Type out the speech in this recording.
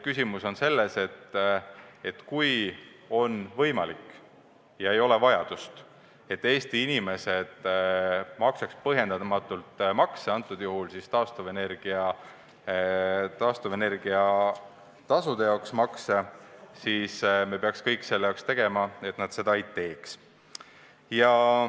Küsimus on selles, et kui on võimalik ja ei ole vajadust, et Eesti inimesed maksaks põhjendamatult makse, kõnealusel juhul siis taastuvenergia tasu, siis me peaks tegema kõik, et nad seda ei teeks.